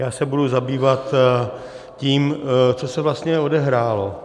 Já se budu zabývat tím, co se vlastně odehrálo.